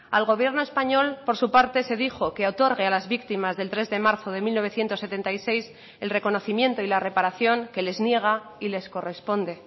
al gobierno español por su parte se dijo que otorgue a las víctimas del tres de marzo de mil novecientos setenta y seis el reconocimiento y la reparación que les niega y les corresponde